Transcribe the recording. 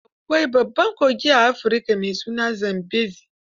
Akwai babban kogi a Afirika mai suna Zambezi.